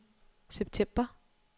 september